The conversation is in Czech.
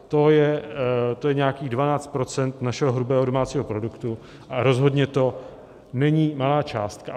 To je nějakých 12 % našeho hrubého domácího produktu a rozhodně to není malá částka.